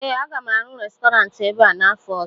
ee, a ga m arụ Restọrantị ebe a n'afọ ọzọ